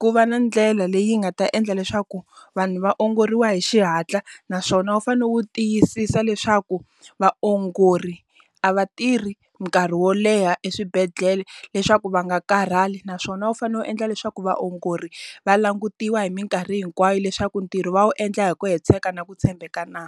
ku va na ndlela leyi nga ta endla leswaku, vanhu va ongoriwa hi xihatla naswona wu fane wu tiyisisa leswaku vaongori a va tirhi nkarhi wo leha eswibedhlele leswaku va nga karhali. Naswona wu fanele u endla leswaku vaongori, va langutiwa hi minkarhi hinkwayo leswaku ntirho va wu endla hi ku hetiseka na ku tshembeka na?